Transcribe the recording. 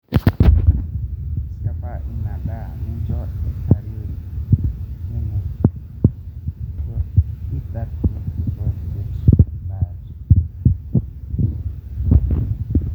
Siapa inia ndaa minjoo eitarori